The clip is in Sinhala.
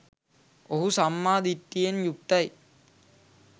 ඔහු සම්මා දිට්ඨියෙන් යුක්තයි